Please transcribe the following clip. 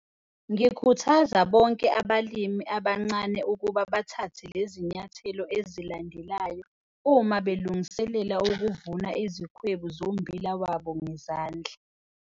Ngikhuthaza bonke abalimi abancane ukuba bathathe le zinyathelo ezilandelayo uma belungiselela ukuvuna izikwebu zommbila wabo ngezandla.